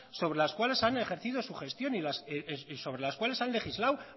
sobre las cuales han ejercido su gestión y sobre las cuales han legislado